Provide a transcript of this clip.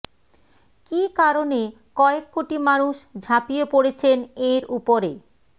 কী কারণে কয়েক কোটি মানুষ ঝাঁপিয়ে পড়েছেন এঁর উপরে